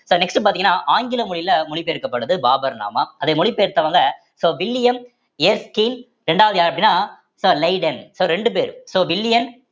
so next பாத்தீங்கன்னா ஆங்கில மொழயில மொழி பெயர்க்கப்படுத்து பாபர் நாமா அத மொழி பெயர்த்தவங்க so வில்லியம் எர்ஸ்கின் இரண்டாவது யாரு அப்படின்னா so லேடன் so ரெண்டு பேர் so வில்லியம்